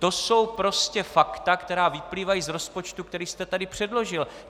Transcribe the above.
To jsou prostě fakta, která vyplývají z rozpočtu, který jste tady předložil.